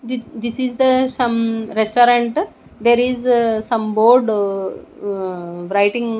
thi this is the some restaurant there is uh some board uhhh writing --